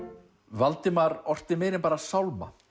Valdimar orti meira en bara sálma